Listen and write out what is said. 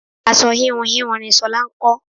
Aṣọ íhùn íhùn ni ṣolá ń kọ.